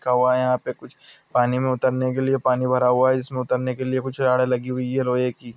कोउ आए आप के कुछ पनि मे उतरने के लिए पनि भर हुवा है इसमे उतरने के लिए आगे कुछ लागि की-- ]